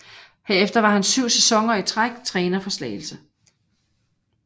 Herefter var han syv sæsoner i træk træner for Slagelse